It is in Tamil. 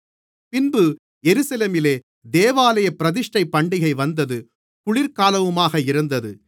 பின்பு எருசலேமிலே தேவாலயப் பிரதிஷ்டை பண்டிகை வந்தது குளிர்காலமுமாக இருந்தது